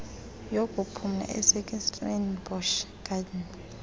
yokuphumla esekirstenbosch gardens